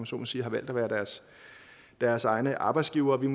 så må sige har valgt at være deres deres egne arbejdsgivere det